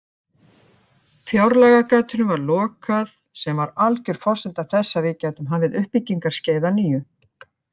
Fjárlagagatinu var lokað sem var alger forsenda þess að við gætum hafið uppbyggingarskeið að nýju.